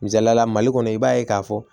Misaliyala mali kɔnɔ i b'a ye k'a fɔ